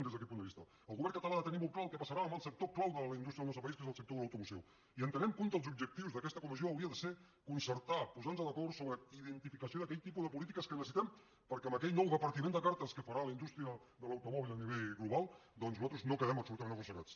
des d’aquest punt de vista el govern català ha de tenir molt clar el que passarà en el sector clau de la indústria del nostre país que és el sector de l’automoció i entenem que un dels objectius d’aquesta comissió hauria de ser concertar posar nos d’acord sobre la identificació d’aquell tipus de polítiques que necessitem perquè en aquell nou repartiment de cartes que farà la indústria de l’automòbil a nivell global doncs nosaltres no quedem absolutament arrossegats